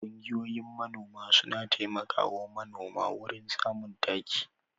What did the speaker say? Ƙungiyoyin manoma suna taimakawa manoma wurin samun taki.